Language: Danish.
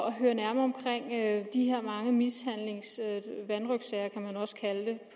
at høre nærmere om de her mange mishandlingssager vanrøgtssager kunne man også kalde